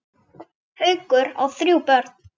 Haukur á þrjú börn.